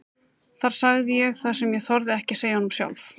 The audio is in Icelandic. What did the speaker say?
Þar sagði ég það sem ég þorði ekki að segja honum sjálf.